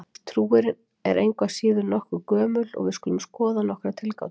Trúin er engu að síður nokkuð gömul og við skulum skoða nokkrar tilgátur.